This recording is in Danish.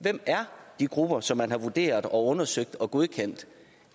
hvem er de grupper som man har vurderet undersøgt og godkendt